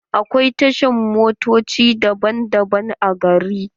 Akwai tashar motoci daban-daban a gari.